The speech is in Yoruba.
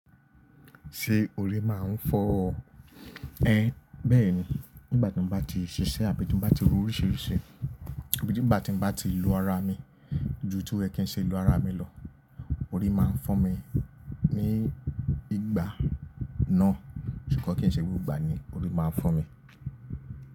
Ṣé orí máa ń fọ́ ọ? Bẹ́ẹ̀ni. Nígbàtí mo bá ti ṣiṣẹ́ àbí tí mo bá ti ro oríṣiríṣi àbí ti n bà tí mo bá ti lo ara mi ju to ye kii ní ṣe lo ara mi lọ, orí máa ń fọ́ mi ní ìgbà náà. Ko kan kí n ṣe gbogbo ìgbà ni orí máa ń fọ́ mi.